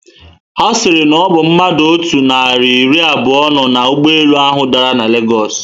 Ha siri na obu mmadụ otú nari iri abuo no na ụgbọelu ahu dara na Lagosu.